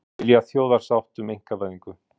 Vill þjóðarsátt um einkavæðingu